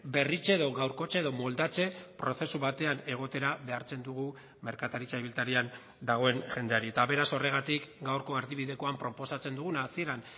berritze edo gaurkotze edo moldatze prozesu batean egotera behartzen dugu merkataritza ibiltarian dagoen jendeari eta beraz horregatik gaurko erdibidekoan proposatzen duguna hasieran